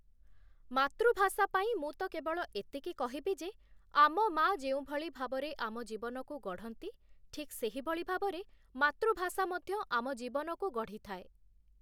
ମାତୃଭାଷା ପାଇଁ ମୁଁ ତ କେବଳ ଏତିକି କହିବି ଯେ, ଆମ ମା ଯେଉଁଭଳି ଭାବରେ ଆମ ଜୀବନକୁ ଗଢ଼ନ୍ତି ଠିକ୍ ସେହିଭଳି ଭାବରେ ମାତୃଭାଷା ମଧ୍ୟ ଆମ ଜୀବନକୁ ଗଢ଼ିଥାଏ ।